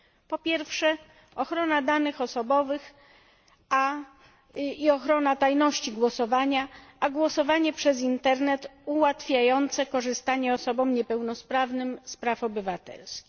Po pierwsze ochrona danych osobowych i ochrona tajności głosowania a głosowanie przez Internet ułatwiające korzystanie osobom niepełnosprawnym z praw obywatelskich.